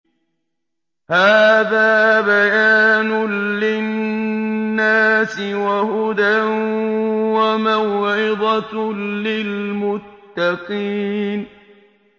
هَٰذَا بَيَانٌ لِّلنَّاسِ وَهُدًى وَمَوْعِظَةٌ لِّلْمُتَّقِينَ